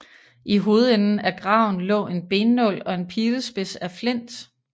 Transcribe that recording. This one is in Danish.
I hovedenden af graven lå en bennål og en pilespids af flint